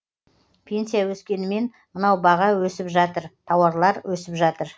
пенсия өскенімен мынау баға өсіватыр тауарлар өсіватыр